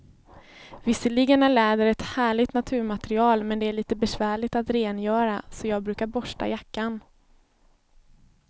Visserligen är läder ett härligt naturmaterial, men det är lite besvärligt att rengöra, så jag brukar borsta jackan.